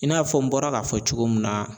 I n'a fɔ n bɔra k'a fɔ cogo min na